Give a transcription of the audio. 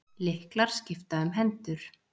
Lyklar skipta um hendur